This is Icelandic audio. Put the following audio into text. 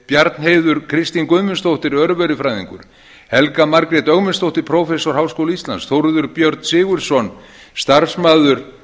bjarnheiður kristín guðmundsdóttir örverufræðingur helga margrét ögmundsdóttir prófessor háskóla íslands þórður björn sigurðsson starfsmaður